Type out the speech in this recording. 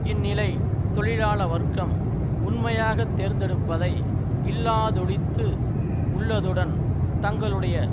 இந்நிலை தொழிலாள வர்க்கம் உண்மையாக தேர்ந்தெடுப்பதை இல்லாதொழித்து உள்ளதுடன் தங்களுடைய